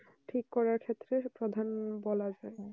ঠিক করার ক্ষেত্রে প্রধান বলা যায়